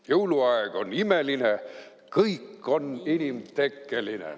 " Jõuluaeg on imeline, kõik on inimtekkeline.